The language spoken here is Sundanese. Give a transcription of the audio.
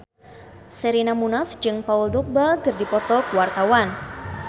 Sherina Munaf jeung Paul Dogba keur dipoto ku wartawan